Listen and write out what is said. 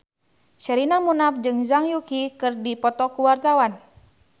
Sherina Munaf jeung Zhang Yuqi keur dipoto ku wartawan